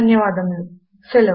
సహకరించినందుకు ధన్యవాదములు